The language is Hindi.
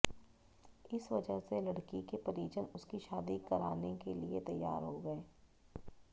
इस वजह से लड़की के परिजन उसकी शादी करान के लिए तैयार हो गए